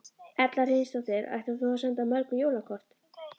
Erla Hlynsdóttir: Ætlar þú að senda mörg jólakort?